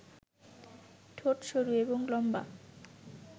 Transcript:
ঠোট সরু এবং লম্বা